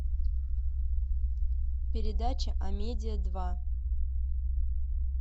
передача амедиа два